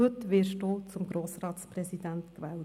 Heute werden Sie zum Grossratspräsidenten gewählt.